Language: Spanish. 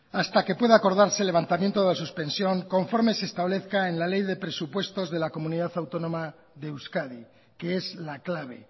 hasta que pueda acordarse el levantamiento de la suspensión conforme se establezca en la ley de presupuestos de la comunidad autónoma de euskadi que es la clave